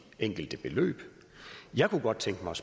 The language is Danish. enkelte beløb jeg kunne godt tænke mig